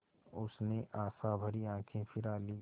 उसने आशाभरी आँखें फिरा लीं